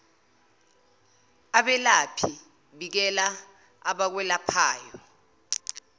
abelaphi bikela abakwelaphayo